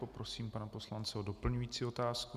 Poprosím pana poslance o doplňující otázku.